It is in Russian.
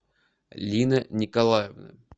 лина николаевна